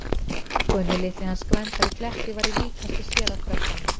Gunni litli hans Gvendar í Kletti væri líkastur sér af krökkunum.